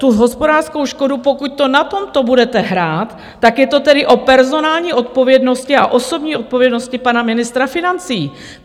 Tu hospodářskou škodu, pokud to na tomto budete hrát, tak je to tedy o personální odpovědnosti a osobní odpovědnosti pana ministra financí.